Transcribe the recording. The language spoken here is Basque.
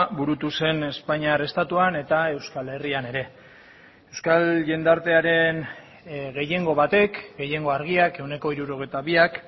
burutu zen espainiar estatuan eta euskal herrian ere euskal jendartearen gehiengo batek gehiengo argiak ehuneko hirurogeita biak